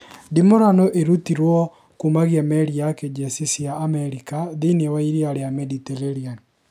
Ndimũrano irũtĩtwe kumagia meri ya kĩjesi cia Amerika thĩini ya iria rĩa Mediterranea